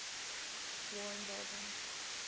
war involving